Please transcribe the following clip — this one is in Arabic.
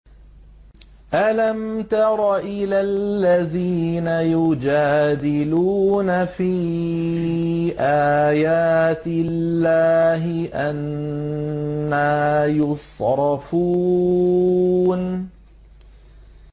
أَلَمْ تَرَ إِلَى الَّذِينَ يُجَادِلُونَ فِي آيَاتِ اللَّهِ أَنَّىٰ يُصْرَفُونَ